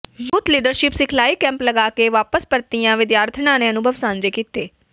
youth leadership ਸਿਖਲਾਈ camp ਲਗਾ ਕੇ ਵਾਪਸ ਪਰਤੀਆਂ ਵਿਦਿਆਰਥਣਾਂ ਨੇ ਅਨੁਭਵ ਸਾਂਝੇ ਕੀਤੇ